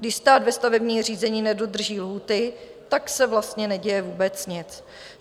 Když stát ve stavebním řízení nedodrží lhůty, tak se vlastně neděje vůbec nic.